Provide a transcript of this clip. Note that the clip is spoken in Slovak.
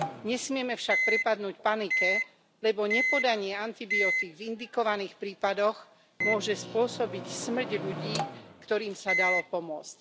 Nesmieme však prepadnúť panike, lebo nepodanie antibiotík v indikovaných prípadoch môže spôsobiť smrť ľudí, ktorým sa dalo pomôcť.